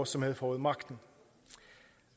som havde fået magten